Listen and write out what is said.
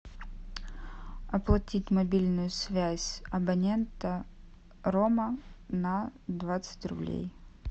оплатить мобильную связь абонента рома на двадцать рублей